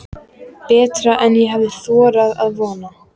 Betra en ég hafði þorað að vona